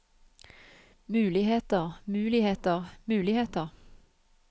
muligheter muligheter muligheter